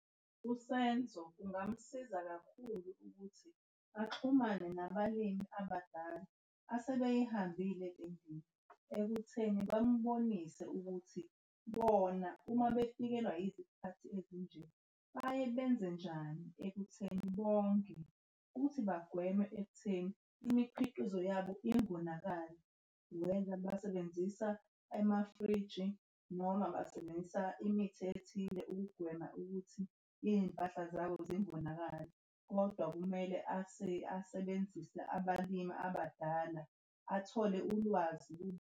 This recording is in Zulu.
USenzo kungamsiza kakhulu ukuthi axhumane nabalimi abadala asebeyihambile le ndima ekutheni bambonise ukuthi bona uma befikelwa izikhathi ezinjena baye benze njani ekutheni bonge ukuthi bagwemwe ekutheni imikhiqizo yabo ingonakali. Noma basebenzisa amafriji noma basebenzisa imithi ethile ukugwema ukuthi iy'mpahla zabo zingonakali. Kodwa kumele asebenzise abalimi abadala athole ulwazi kubo.